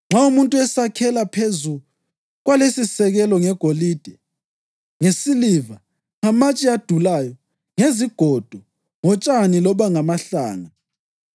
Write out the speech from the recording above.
Nxa umuntu esakhela phezu kwalesisisekelo ngegolide, ngesiliva, ngamatshe adulayo, ngezigodo, ngotshani loba ngamahlanga,